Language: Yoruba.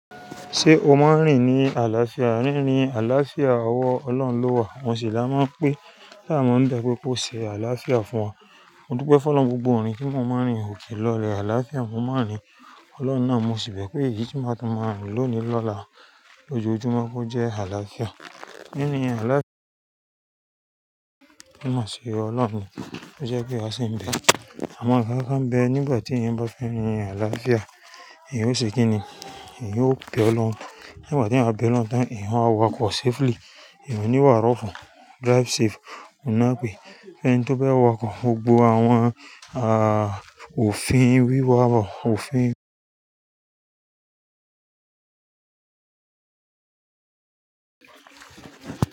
Ṣé o máa ń rìn ní àlàáfíà? Rírin àlàáfíà, ọwọ́ Ọlọ́run ló wà. Mo sì la máa ń pe láma ń bẹ́ pé kó ṣe àlàáfíà fún wa. Mo dúpẹ́ fún Ọlọ́run gbogbo orin tí mo máa ń rin ò kí lọlẹ̀ àlàáfíà mo máa ń rin. Ọlọ́run náà mo sì bẹ́ pé èyí tí màá tún máa rìn lónìí lọ́la lójoojúmọ́ kó jẹ́ àlàáfíà. Rírin àlàáfíà máa ṣe Ọlọ́run. Ó jẹ́ pé a sì ń bẹ. Awon nkan kan bẹ nígbà tí ìyẹn bá fẹ́ rìn àlàáfíà ìyẹn ó ṣe kíni, ìyẹn yóò bẹ ọ́ lọ́hun. Nígbà tí a bá bẹ lọ́tun ìhùn á wakọ̀ safely. Eeyan ò ní wà rọ́ún. Drive safe. Oon nà pé ẹni tó bá wakọ̀ gbogbo àwọn, à, òfin wíwá wọ, òfin.